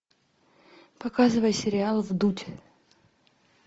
показывай сериал вдудь